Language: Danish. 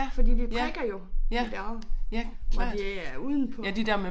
Fordi de prikker jo de der hvor de er udenpå